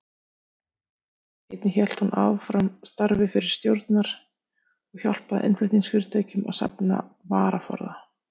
Einnig hélt hún áfram starfi fyrri stjórnar og hjálpaði innflutningsfyrirtækjum að safna varaforða.